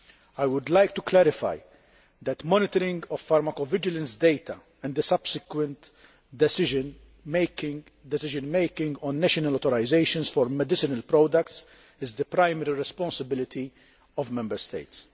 I would like to clarify that monitoring of pharmacovigilance data and the subsequent decision making on national authorisations for medicinal products is the primary responsibility of Member States.